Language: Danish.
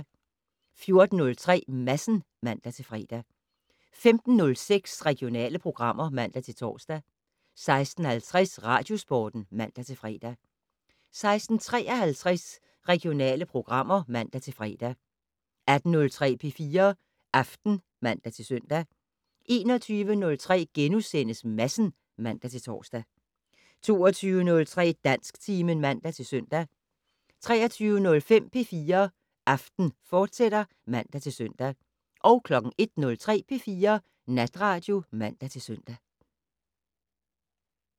14:03: Madsen (man-fre) 15:06: Regionale programmer (man-tor) 16:50: Radiosporten (man-fre) 16:53: Regionale programmer (man-fre) 18:03: P4 Aften (man-søn) 21:03: Madsen *(man-tor) 22:03: Dansktimen (man-søn) 23:05: P4 Aften, fortsat (man-søn) 01:03: P4 Natradio (man-søn)